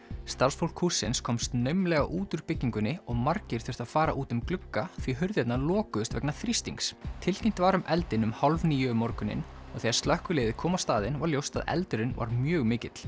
starfsfólk hússins komst naumlega út úr byggingunni og margir þurftu að fara út um glugga því hurðirnar lokuðust vegna þrýstings tilkynnt var um eldinn um hálf níu um morguninn og þegar slökkviliðið kom á staðinn var ljóst að eldurinn var mjög mikill